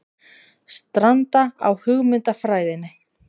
Stranda á hugmyndafræðinni